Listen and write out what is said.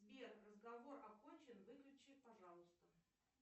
сбер разговор окончен выключи пожалуйста